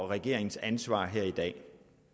regeringens ansvar her i dag